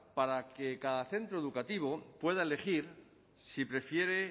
para que cada centro educativo pueda elegir si prefiere